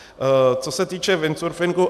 Co se týče windsurfingu.